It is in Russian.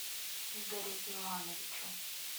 игорю ивановичу